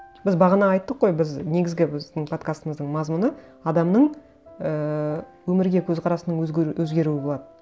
біз бағана айттық қой біз негізгі біздің подкастымыздың мазмұны адамның ііі өмірге көзқарасының өзгеруі болады